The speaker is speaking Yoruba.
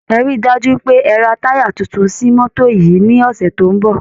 Ẹ rí i dájú pé ẹ ra táyà tuntun sí mọ́tò yìí ní ọ̀sẹ̀ tó ń bọ̀